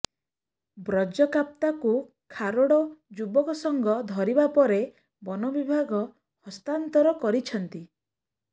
ବ୍ରଜକାପ୍ତା କୁ ଖାରୋଡ଼ ଯୁବକ ସଂଘ ଧରିବା ପରେ ବନବିଭାଗ ହସ୍ତାନ୍ତର କରିଛନ୍ତି